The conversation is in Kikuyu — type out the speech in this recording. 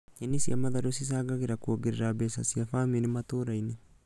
Nyeni cia matharũ cicangagĩra kuongerera mbeca cia bamĩrĩ cia matũra-inĩ